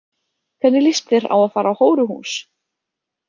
Hvernig líst þér á að fara á hóruhús?